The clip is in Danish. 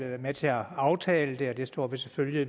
været med til at aftale det og det står vi selvfølgelig